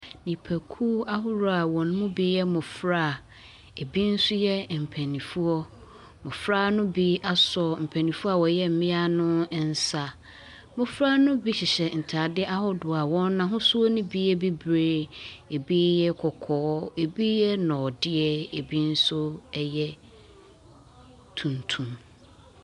Nnipakuo ahoroɔ a wɔn mu bi yɛ mmɔfra a ebi nso yɛ mpanimfoɔ. Mmɔfra no bi asɔ mpanimfoɔ a wɔyɛ mmea no nsa. Mmɔfra no bi hyehyɛ ntadeɛ ahodoɔ a wɔn ahosuo no bi yɛ bibire, ebi yɛ kɔkɔɔ, ɛbi yɛ nnɔdeɛ ebi nso yɛ tuntum.